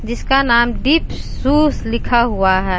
जिस का नाम डीप शूस लिखा हुआ है।